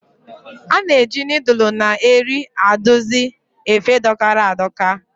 A na-eji nịịdụlụ na eri adusi efe dọkara a dọka.